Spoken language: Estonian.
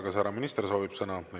Kas härra minister soovib sõna?